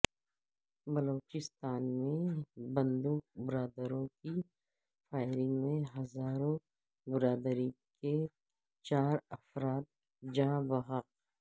بلوچستان میں بندوق برداروں کی فائرنگ میں ہزارہ برادری کے چار افراد جاں بحق